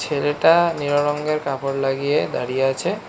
ছেলেটা নীলো রঙ্গের কাপড় লাগিয়ে দাঁড়িয়ে আছে।